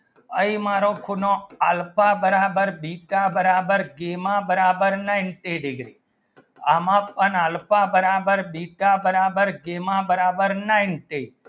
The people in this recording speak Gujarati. એ મારો ખૂણો alpha બર્બર beta બરાબર gama બરાબર ninety degree એમાં પણ alpha બર્બર beta બરાબર gama બરાબર ninety